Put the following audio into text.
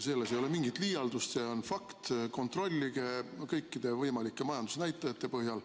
See ei ole mingi liialdus, see on fakt, kontrollige kõikide võimalike majandusnäitajate põhjal.